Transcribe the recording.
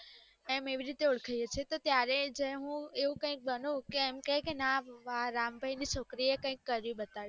એમ એવી રીતે ઓળખાય છીએ તો ત્યારે જે હું એવું કૈક બનું કે એમ કેય કે ના રામ ભાઈ ની છોકરી એ કંઈક કરી બતાવ્યું